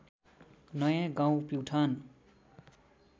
नयाँ गाउँ प्युठान